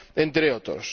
entre otros.